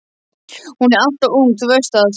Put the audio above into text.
Hún er alltof ung, þú veist það.